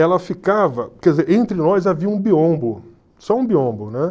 ela ficava, quer dizer, entre nós havia um biombo, só um biombo, né?